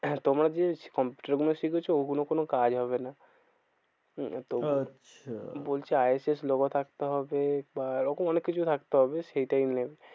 হ্যাঁ তোমরা যে কম্পিউটার গুলো শিখেছো ওগুলো কোনো কাজ হবে না। আচ্ছা বলছে আই এফ এস logo থাকতে হবে। আর ওরকম অনেক কিছু থাকতে হবে সেটাই main.